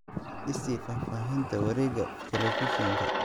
I sii faahfaahinta wareegga telefishinka